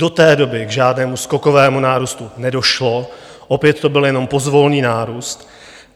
Do té doby k žádnému skokovému nárůstu nedošlo, opět to byl jen pozvolný nárůst.